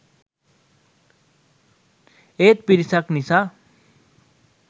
ඒත් පිරිසක් නිසා